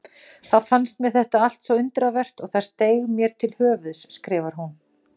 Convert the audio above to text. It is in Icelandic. Þá fannst mér þetta allt svo undravert að það steig mér til höfuðs, skrifar hún.